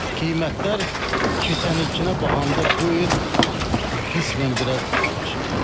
Qiymətlər keçən ilkinə baxanda bu il qismən biraz bahalaşıb.